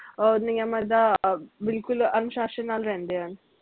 ਅਹ ਨਿਯਮਾਂ ਦਾ ਅਹ ਬਿਲਕੁਲ ਅਨੁਸ਼ਸ਼ਾਨ ਨਾਲ ਰਹਿੰਦੇ ਹਨ